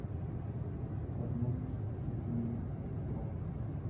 один четыре два